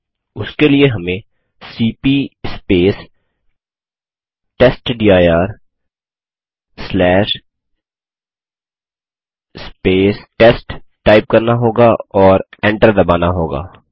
उसके लिए हमें सीपी टेस्टडिर टेस्ट टाइप करना होगा और एंटर दबाना होगा